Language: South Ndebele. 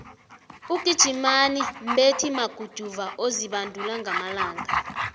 ugijimani mbethi maguduva ozibandula ngamalanga